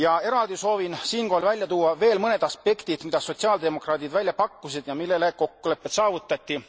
Eraldi soovin siinkohal välja tuua veel mõned aspektid, mida sotsiaaldemokraadid välja pakkusid ja mille üle kokkulepped saavutati.